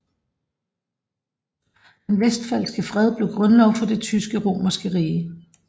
Den westfalske fred blev grundlov for det tysk romerske rige